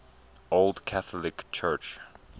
old catholic church